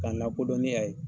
Ka n lakodɔn ni yan ye.